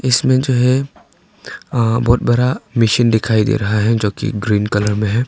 इसमें जो है बहुत बड़ा मशीन दिखाई दे रहा है जो कि ग्रीन कलर में है।